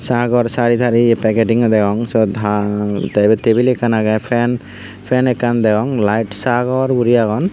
Sagor sari tari peketing o degong seot haa te yot tebil ekkan age fan fan ekkan degong light sagor guri agon.